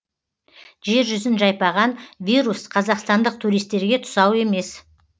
жер жүзін жайпаған вирус қазақстандық туристтерге тұсау емес